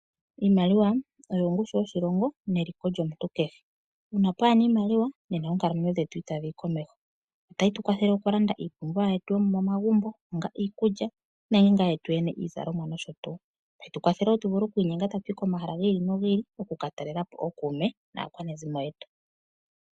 Iimaliwa oyo ongushu yoshilongo neliko lyomuntu kehe uuna pwaana iimaliwa nena oonkalamwenyo dhetu itadhi yi komeho otayi tu kwathele okulanda iipumbiwa yetu yomomagumbo onga iikulya nenge yetu yene iizalomwa nosho tuu tayi tu kwathele wo iikwiinyenga tatu yi komahala giili no giili okukatalelapo ookuume naakwanezimo yetu.